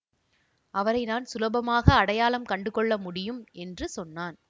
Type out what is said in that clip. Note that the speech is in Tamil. அவரை நான் சுலபமாக அடையாளம் கண்டுகொள்ள முடியும் என்று சொன்னான்